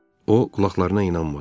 O qulaqlarına inanmadı.